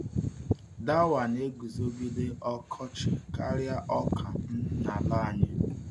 Dawa na-eguzogide ọkọchị karịa ọka um n’ala anyị.